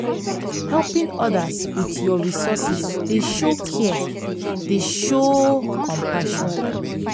helping odas with yur resources dey show care dey show compassion.